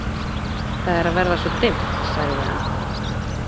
Það er að verða svo dimmt, sagði hann.